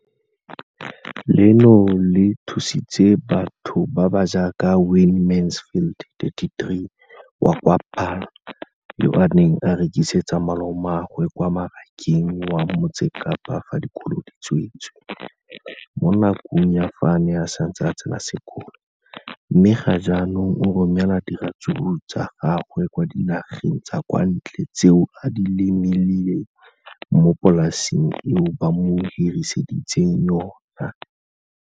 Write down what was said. Leno le thusitse batho ba ba jaaka Wayne Mansfield, 33, wa kwa Paarl, yo a neng a rekisetsa malomagwe kwa Marakeng wa Motsekapa fa dikolo di tswaletse, mo nakong ya fa a ne a santse a tsena sekolo, mme ga jaanong o romela diratsuru tsa gagwe kwa dinageng tsa kwa ntle tseo a di lemileng mo polaseng eo ba mo hiriseditseng yona.